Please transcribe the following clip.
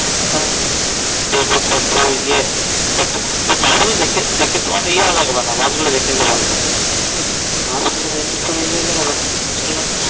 দেখবো কত ইয়ে কত ভুল দেখে দেখে তোমার ইয়া লাগবে না. বাসগুলো তো